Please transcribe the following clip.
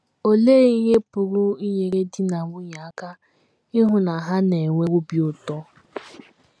Olee Ihe Pụrụ Inyere Di na Nwunye Aka Ịhụ na Ha Na - enwe Obi Ụtọ?